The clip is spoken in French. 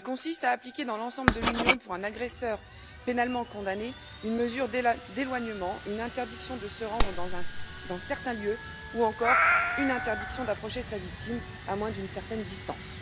Il consiste à appliquer dans l'ensemble de l'Union, pour un agresseur pénalement condamné, une mesure d'éloignement, une interdiction de se rendre dans certains lieux ou encore une interdiction d'approcher sa victime à moins d'une certaine distance.